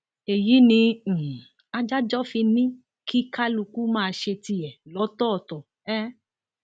èyí ni um adájọ fi ní kí kálukú máa ṣe tiẹ lọtọọtọ um